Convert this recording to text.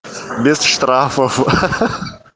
без штрафов